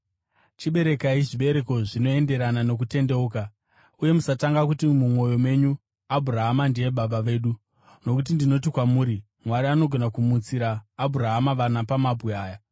Chiberekai zvibereko zvinoenderana nokutendeuka. Uye musatanga kuti mumwoyo menyu, ‘Abhurahama ndiye baba vedu.’ Nokuti ndinoti kwamuri Mwari anogona kumutsira Abhurahama vana pamabwe aya.